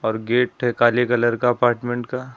और गेट है काले कलर का अपार्टमेंट का --